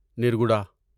نرگوڈا